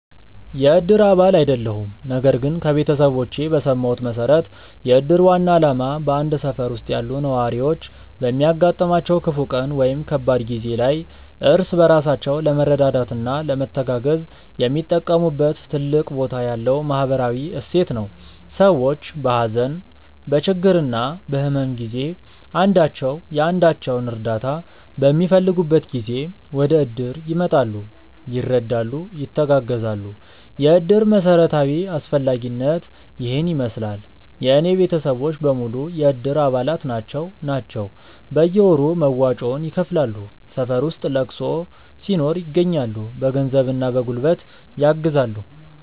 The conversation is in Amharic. የእድር አባል አይደለሁም ነገር ግን ከቤተሰቦቼ በሰማሁት መሠረት የእድር ዋና ዓላማ በአንድ ሠፈር ውስጥ ያሉ ነዋሪዎች በሚያጋጥማቸው ክፉ ቀን ወይም ከባድ ጊዜ ላይ እርስ በራሳቸው ለመረዳዳትና ለመተጋገዝ የሚጠቀሙበት ትልቅ ቦታ ያለው ማኅበራዊ እሴት ነው። ሰዎች በሀዘን፣ በችግርና በሕመም ጊዜ አንዳቸው የአንዳቸውን እርዳታ በሚፈልጉበት ጊዜ ወደእድር ይመጣሉ፤ ይረዳሉ፣ ይተጋገዛሉ። የእድር መሠረታዊ አስፈላጊነት ይሔን ይመሥላል። የእኔ ቤተሰቦች በሙሉ የእድር አባላት ናቸው ናቸው። በየወሩ መዋጮውን ይከፍላሉ፣ ሠፈር ውስጥ ለቅሶ ሲኖር ይገኛሉ። በገንዘብና በጉልበት ያግዛሉ።